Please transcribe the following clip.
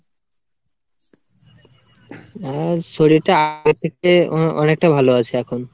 আ শরীরটা আগের থেকে অনেকটা ভালো আছে এখন।